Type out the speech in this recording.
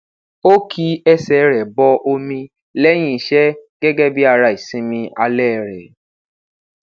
o ki ẹsẹ rẹ bọ omi lẹyin iṣẹ gẹgẹ bi ara isinmi alẹ rẹ